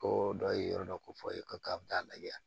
Ko dɔ ye yɔrɔ dɔ ko fɔ a ye ko k'a bɛ taa lajɛ